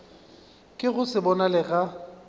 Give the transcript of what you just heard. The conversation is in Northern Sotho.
ka go se bonale ga